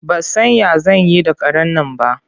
Ba san ya zan yi da karen nan ba.